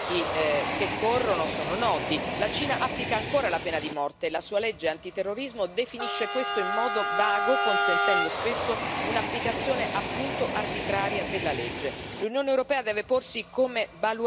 E sappiamo, perché da tempo, i rischi che corrono sono noti, la Cina applica ancora la pena di morte, la sua legge antiterrorismo definisce questo in modo vago, consentendo spesso un'applicazione appunto arbitraria della legge.